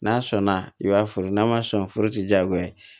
N'a sɔnna i b'a furu n'a ma sɔn forotigiyagoya ye